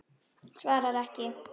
Svarar ekki.